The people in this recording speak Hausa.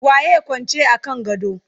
waye Kwance a kan gado?